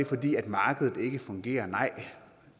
fordi markedet ikke fungerer nej